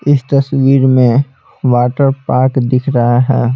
इस तस्वीर में वाटर पार्क दिख रहा है।